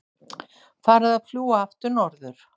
Farið að fljúga aftur norður